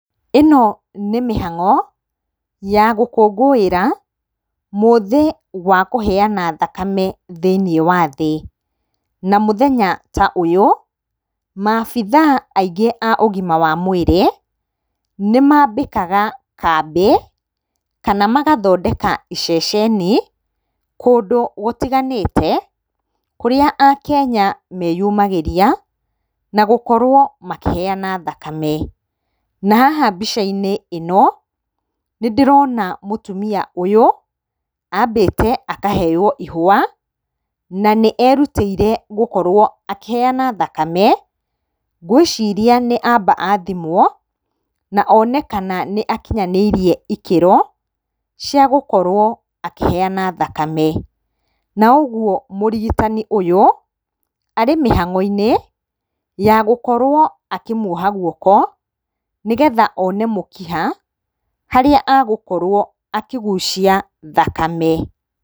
Ĩno nĩ mĩhang'o ya gũkũngũĩra mũthĩ wa kũheyana thakame thĩinĩ wa thĩ. Na mũthenya ta ũyũ maabithaa aingĩ a ũgima wa mwĩrĩ nĩmambĩkaga kambĩ kana magathondeka iceceni kũndũ gũtiganĩte kũrĩa akenya meyumagĩria na gũkorwo makĩheyana thakame. Na haha mbica-inĩ ĩno nĩndĩrona mũtumia ũyũ ambĩte akaheo ihũa na nĩerutĩire gũkorwo akĩheyana thakame. Ngwĩciria nĩ amba athimwo onekana nĩ akinyanĩirie ikĩro cia gũkorwo akĩheyana thakame. Na ũguo mũrigitani ũyũ arĩ mĩhang'o-inĩ ya gũkorwo akĩmuoha guoko nĩgetha one mũkiha harĩa agũkorwo akĩgucia thakame.